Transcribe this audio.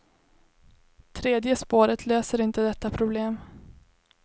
Tredje spåret löser inte detta problem.